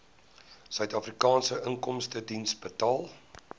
suidafrikaanse inkomstediens betaal